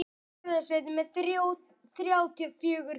Nei annars.